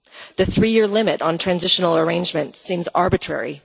The three year limit on transitional arrangement seems arbitrary.